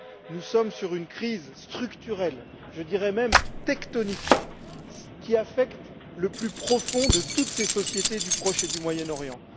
Nous sommes face à une crise structurelle, je dirais même tectonique, qui affecte au plus profond toutes ces sociétés du Proche et du Moyen Orient.